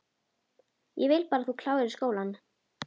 Ég vil bara að þú klárir skólann